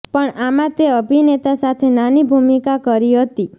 પણ આમાં તે અભિનેતા સાથે નાની ભૂમિકા કરી હતી